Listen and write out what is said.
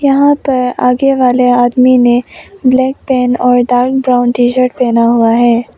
यहां पर आगे वाले आदमी ने ब्लैक पैंट और डार्क ब्राउन टी शर्ट पहना हुआ है।